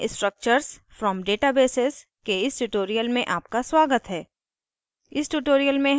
jmol में structures from databases के इस tutorial में आपका स्वागत है